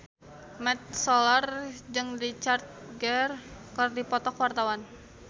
Mat Solar jeung Richard Gere keur dipoto ku wartawan